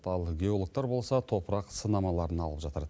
ал геологтар болса топырақ сынамаларын алып жатыр